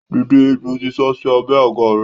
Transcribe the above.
Dìde! Ejò ti sásí abẹ́ àga rẹ.